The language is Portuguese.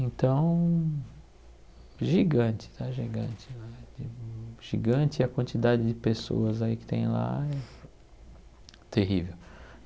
Então, gigante, está gigante, gigante a quantidade de pessoas aí que tem lá é terrível.